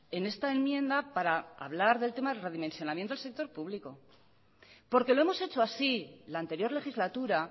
en esta enmienda para hablar del tema del redimensionamiento del sector público porque lo hemos hecho así la anterior legislatura